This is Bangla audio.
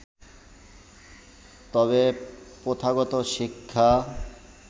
তবে প্রথাগত শিক্ষা